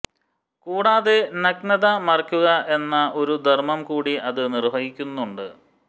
കൂടാതെ നഗ്നത മറയ്ക്കുക എന്ന ഒരു ധർമ്മം കൂടി അത് നിർവഹിക്കുന്നുണ്ട്